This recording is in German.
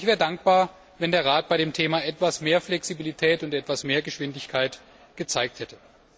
Und ich wäre dankbar, wenn der Rat bei dem Thema etwas mehr Flexibilität und etwas mehr Geschwindigkeit gezeigt hätte.